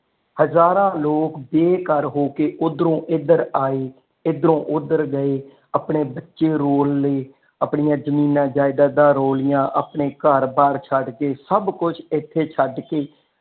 ਹਜ਼ਾਰਾਂ ਲੋਕ ਬੇਘਰ ਹੋਕੇ ਓਧਰੋ ਇਧਰ ਆਏ ਇਧਰ ਓਧਰ ਗਏ ਆਪਣੇ ਬਚੇ ਰੋਲ ਲਏ ਆਪਣੀਆਂ ਜ਼ਮੀਨ ਜਾਇਦਾਦ ਰੋਲ ਲਿਆਂ ਆਪਣੇ ਘਰ ਬਾਹਰ ਛੱਡ ਕੇ ਸਭ ਕੁਝ ਇਥੇ ਛੱਡ ਕੇ।